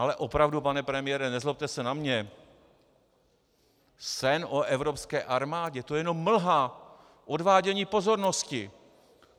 Ale opravdu, pane premiére, nezlobte se na mě, sen o evropské armádě, to je jenom mlha, odvádění pozornosti.